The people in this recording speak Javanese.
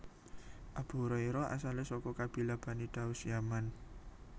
Abu Hurairah asalé saka kabilah Bani Daus Yaman